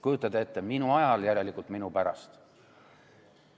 Kujutate ette: minu ajal, järelikult minu pärast.